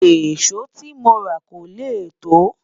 èso tí móra kò lẹ to